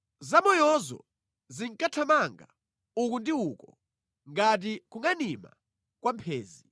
Zamoyozo zinkathamanga uku ndi uko ngati kungʼanima kwa mphenzi.